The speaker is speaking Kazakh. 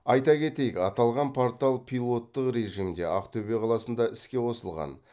айта кетейік аталған портал пилоттық режимде ақтөбе қаласында іске қосылған